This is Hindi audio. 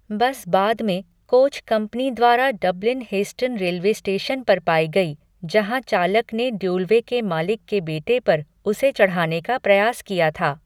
बस बाद में कोच कंपनी द्वारा डबलिन हेस्टन रेलवे स्टेशन पर पाई गई, जहाँ चालक ने ड्यूलवे के मालिक के बेटे पर उसे चढ़ाने का प्रयास किया था।